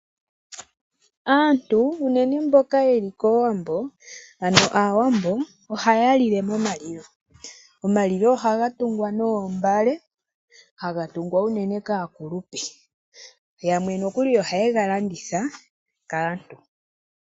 Aantu unene mboka yeli koowambo ano aawambo ohaya lile momalilo. Omalilo ohaga tungwa noombale haga tungwa unene kaakulupe, yamwe nokuli ohaye galanditha kaantu.